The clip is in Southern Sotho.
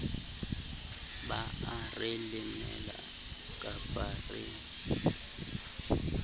ba are lemela kapaba re